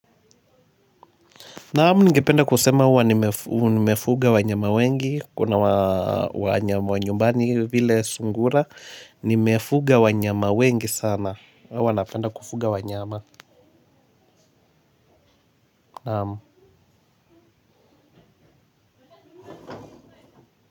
Naam, ningependa kusema kuwa nimefuga wanyama wengi kuna wanyama wa nyumbani vile sungura nimefuga wanyama wengi sana huwa napenda kufuga wanyama naam.